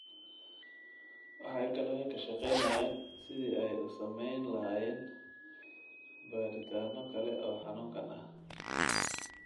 Waxay kaloo ka shaqaynayaan sidii ay u samayn lahaayeen baadhitaano kale oo xanuunkan ah.